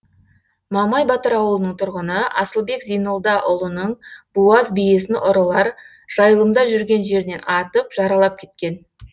мамай батыр ауылының тұрғыны асылбек зейнолдаұлының буаз биесін ұрылар жайылымда жүрген жерінен атып жаралап кеткен